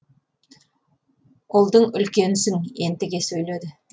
ұлдың үлкенісің ентіге сөйледі